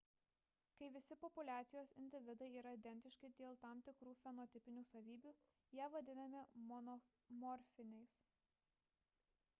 kai visi populiacijos individai yra identiški dėl tam tikrų fenotipinių savybių jie vadinami monomorfiniais